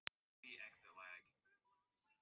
Að því loknu héldu þau ferðinni áfram.